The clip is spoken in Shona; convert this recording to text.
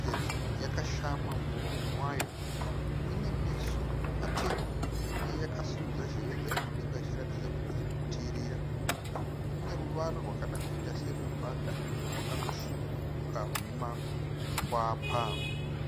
sezvo yakashama muromo wayo, ine meso matema uye yakasimudza nzeve dzayo mudenga ichiratidza kuti iri kuterera, ine ruvara rwakada kuita sembada rwakanosviburuka rune makwapa.